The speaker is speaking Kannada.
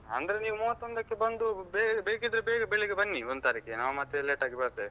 ಅಂದ್ರೆ ನೀವು ಮೂವತ್ತೊಂದಕ್ಕೆ ಬಂದು ಬೇಕಿದ್ರೆ ಬೇಗ ಬೆಳಿಗ್ಗೆ ಬನ್ನಿ ಒಂದು ತಾರೀಖಿಗೆ ನಾವು ಮತ್ತೆ late ಆಗಿ ಬರ್ತೇವೆ.